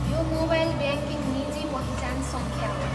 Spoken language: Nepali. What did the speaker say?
यो मोबाइल ब्याङ्किङ निजी पहिचान सङ्ख्या हो।